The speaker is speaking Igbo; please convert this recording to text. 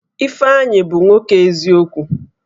Ifeanyi bụ nwoke eziokwu